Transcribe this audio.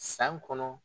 San kɔnɔ